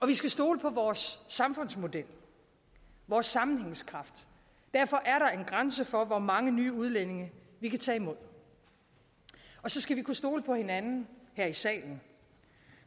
vi skal stole på vores samfundsmodel vores sammenhængskraft derfor er der en grænse for hvor mange nye udlændinge vi kan tage imod og så skal vi kunne stole på hinanden her i salen